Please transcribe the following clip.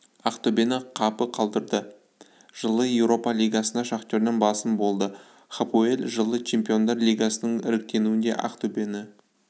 ақтөбені қапы қалдырды жылы еуропа лигасында шахтерден басым болды хапоэль жылы чемпиондар лигасының іріктеуінде ақтөбені